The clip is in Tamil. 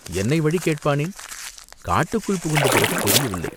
என்னை வழி கேட்பானேன்?" "காட்டுக்குள் புகுந்த பிறகு தெரியவில்லை.